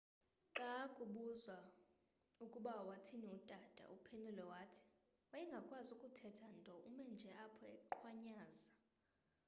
xa ubuzwa ukuba wathini utata uphendule wathi wayengakwazi kuthetha nto ume nje apho eqhwanyaza